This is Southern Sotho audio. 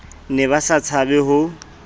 ne ba sa tshabe ho